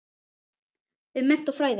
um mennt og fræði